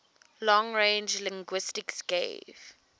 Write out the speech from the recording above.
long range linguistics gave